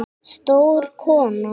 Stór kona.